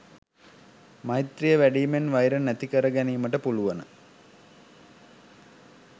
මෛත්‍රීය වැඩීමෙන් වෛර නැති කර ගැනීමට පුළුවන.